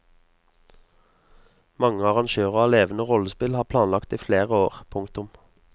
Mange arrangører av levende rollespill har planlagt i flere år. punktum